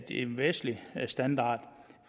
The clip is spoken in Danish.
en vestlig standard